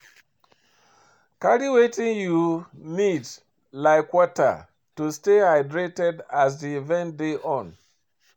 Carry wetin you need like water to stay hydrated as di event dey on